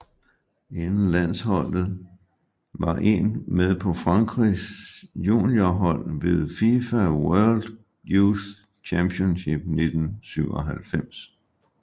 Inden landsholdet var en med på Frankrigs juniorhold ved FIFA World Youth Championship 1997